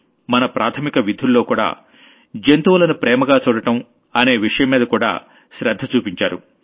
మన ప్రాథమిక విధుల్లోకూడా రెస్పెక్ట్ ఫర్ యానిమల్స్ అనే విషయం మీద కూడా శ్రద్ధ చూపించారు